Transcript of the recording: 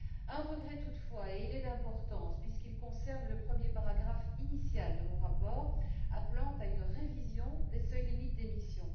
Un regret toutefois, et il est d'importance, puisqu'il concerne le premier paragraphe initial de mon rapport, appelant à une révision des seuils limites d'émissions.